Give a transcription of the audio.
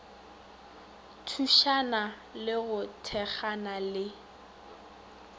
thušana le go thekgana le